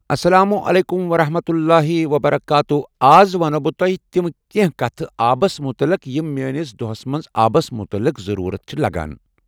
السلام عليكم ورحمة الله وبركاته آز ونہو بہٕ تۄہہِ تِم کینٛہہ کتھٕ آبس مُتعلق یِم میٲنس دۄہس منٛز آبس مُتعلق ضرورت چھِ لگان۔